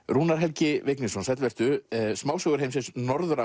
Rúnar Helgi Vignisson sæll vertu smásögur heimsins Norður